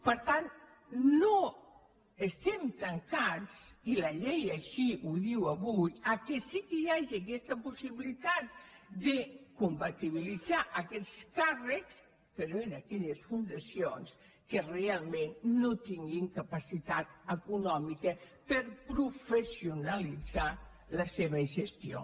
per tant no estem tancats i la llei així ho diu avui que sí que hi hagi aquesta possibilitat de compa·tibilitzar aquests càrrecs però en aquelles fundacions que realment no tinguin capacitat econòmica per pro·fessionalitzar la seva gestió